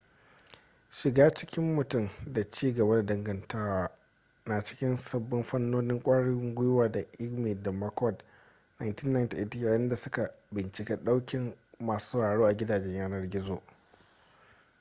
shiga cikin mutum” da ci gaba da dangantaka” na cikin sabbin fannonin kwarin gwiwa ta eighmey da mccord 1998 yayinda suka bincika daukin masu sauraro a gidajen yanar gizo